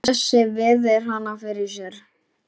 Bjössi virðir hana fyrir sér.